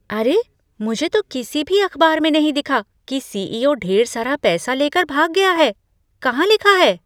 अरे, मुझे तो किसी भी अखबार में नहीं दिखा कि सीईओ ढेर सारा पैसा लेकर भाग गया है। कहां लिखा है?